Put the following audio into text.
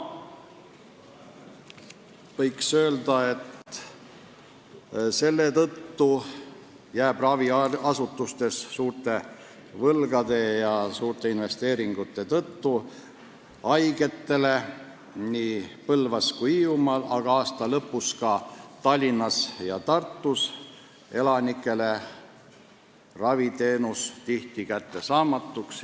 Võiks öelda, et raviasutustes jääb suurte võlgade ja suurte investeeringute tõttu haigetele nii Põlvas kui ka Hiiumaal, aga aasta lõpus ka Tallinnas ja Tartus arstiabi tihti kättesaamatuks.